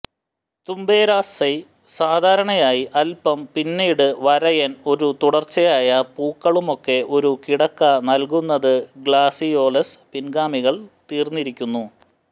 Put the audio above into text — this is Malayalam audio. തുബെരൊസെ സാധാരണയായി അല്പം പിന്നീട് വരയൻ ഒരു തുടർച്ചയായ പൂക്കളുമൊക്കെ ഒരു കിടക്ക നൽകുന്നത് ഗ്ലാഡിയോലസ് പിൻഗാമികൾ തീർന്നിരിക്കുന്നു